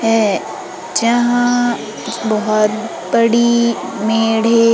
है जहां बहुत बड़ी मेढ़े --